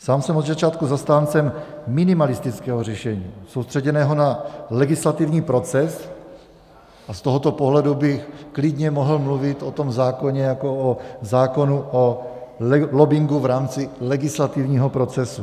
Sám jsem od začátku zastáncem minimalistického řešení soustředěného na legislativní proces a z tohoto pohledu bych klidně mohl mluvit o tom zákoně jako o zákonu o lobbingu v rámci legislativního procesu.